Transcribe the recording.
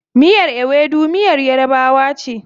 Miyar Ewedu miyar yarabawa ce.